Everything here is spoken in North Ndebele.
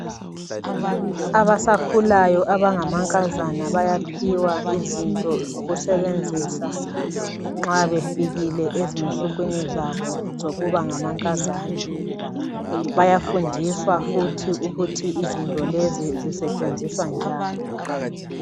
Abasakhulayo abangamankazana bayaphiwa izinto zokusebenzisa nxa befikile ezinsukwini zabo zokuba ngamankazana. Bayafundiswa futhi ukuthi izinto lezi zisetshenziswa njani.